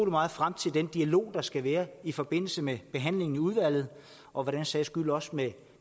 meget frem til den dialog der skal være i forbindelse med behandlingen i udvalget og for den sags skyld også med